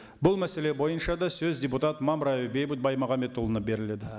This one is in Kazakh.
бұл мәселе бойынша да сөз депутат мамраев бейбіт баймағамбетұлына беріледі